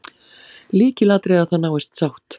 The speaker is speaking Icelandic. Lykilatriði að það náist sátt